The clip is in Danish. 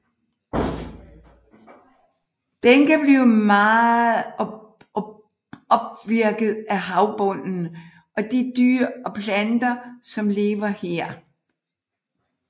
Den kan blive meget åpvirket af havbunden og de dyr og planter som lever her